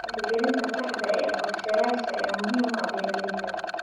Hirgelinta saxda ah ee qorshayaasha ayaa muhiim u ah beeralayda.